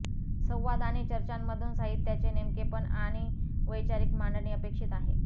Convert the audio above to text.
संवाद आणि चर्चांमधून साहित्याचे नेमकेपण आणि वैचारिक मांडणी अपेक्षित आहे